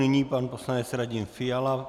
Nyní pan poslanec Radim Fiala.